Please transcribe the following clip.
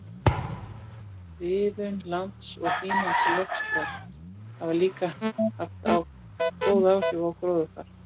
Friðun lands og hlýnandi loftslag hafa líka haft góð áhrif á gróðurfar.